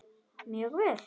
Mjög vel.